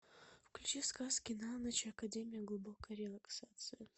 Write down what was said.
включи сказки на ночь академия глубокой релаксации